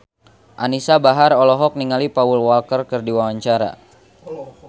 Anisa Bahar olohok ningali Paul Walker keur diwawancara